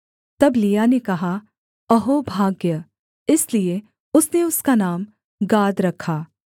तब लिआ ने कहा अहो भाग्य इसलिए उसने उसका नाम गाद रखा